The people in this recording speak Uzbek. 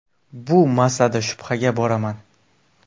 Bu masalada shubhaga boraman.